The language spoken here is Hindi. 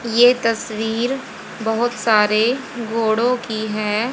ये तस्वीर बहोत सारे घोड़ों की है।